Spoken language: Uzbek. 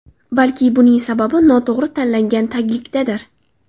Balki buning sababi noto‘g‘ri tanlangan taglikdadir.